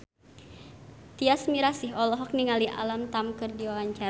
Tyas Mirasih olohok ningali Alam Tam keur diwawancara